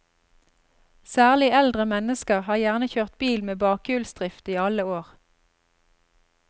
Særlig eldre mennesker har gjerne kjørt bil med bakhjulsdrift i alle år.